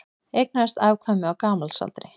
Eignaðist afkvæmi á gamalsaldri